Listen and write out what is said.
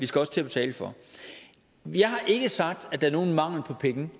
skal til at betale for jeg har ikke sagt at der er nogen mangel på penge